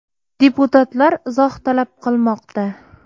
Deputatlar izoh talab qilmoqda.